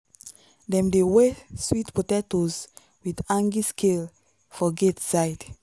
dem dey weigh sweet potatoes with hanging scale for gate side.